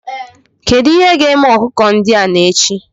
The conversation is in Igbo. Kedu ihe ga-eme ọkụkọ ndị a n'echi?